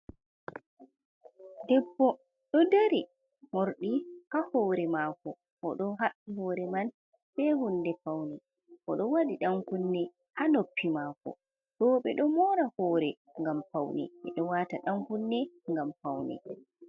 Debbo ɗo dari, morɗi ha hore mako, o ɗo haɓɓi hore man be hunde, fauni oɗo wadi dan kunne ha noppi mako, rewɓeɗo mora hore gam faune, ɓe ɗo wata ɗan kunne gam faune.